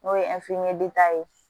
N'o ye ye